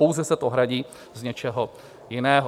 Pouze se to hradí z něčeho jiného.